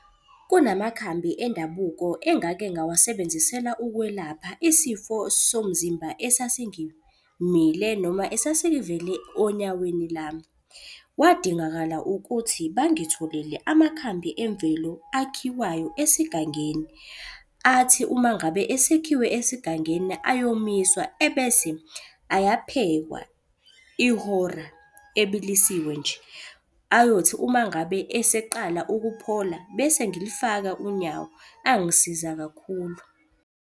Kunamakhambi endabuko engake ngawasebenzisela ukwelapha isifo somzimba esasingimile noma esasingivele onyaweni lami. Kwadingakala ukuthi bangitholele amakhambi emvelo akhiwayo esigangeni. Athi uma ngabe esekhiwe esigangeni ayomiswa, ebese ayaphekwa ihora ebilisiwe nje. Ayothi uma ngabe eseqala ukuphola bese ngilifaka unyawo, angisiza kakhulu.